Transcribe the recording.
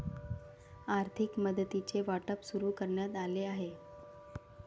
आर्थिक मदतीचे वाटप सुरू करण्यात आले आहे.